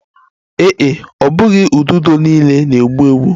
Ee e, ọ bụghị ududo niile na-egbu egbu